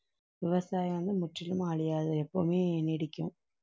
விவசாயம் வந்து முற்றிலும் அழியாது எப்பவுமே நீடிக்கும்